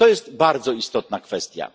To jest bardzo istotna kwestia.